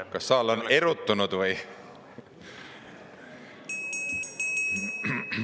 Kas saal on erutanud?